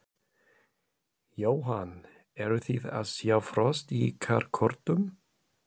Jóhann: Eruð þið að sjá frost í ykkar kortum?